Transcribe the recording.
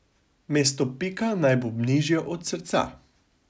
Mesto pika naj bo nižje od srca.